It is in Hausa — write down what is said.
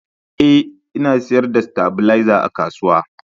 Ee, Ina sayar da stabilizer a kasuwa